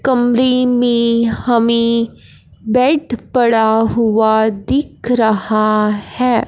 कमरे में हमें बेड पड़ा हुआ दिख रहा है।